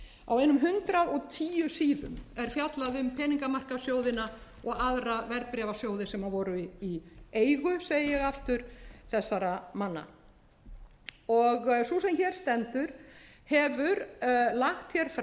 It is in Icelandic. á einum hundrað og tíu síðum er fjallað um peningamarkaðssjóðina og aðra verðbréfasjóði sem voru í eigu segi ég aftur þessara manna og sú sem hér stendur hefur lagt fram